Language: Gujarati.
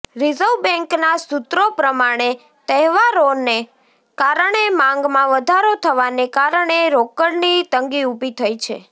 રિઝર્વ બેંકના સૂત્રો પ્રમાણે તહેવારનો કારણે માંગમાં વધારો થવાને કારણે રોકડની તંગી ઉભી થઈ છે